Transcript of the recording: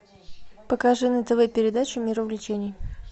покажи на тв передачу мир увлечений